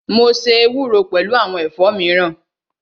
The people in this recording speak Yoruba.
Mo ṣe ewúro pẹlu awọn ẹ̀fọ́ miran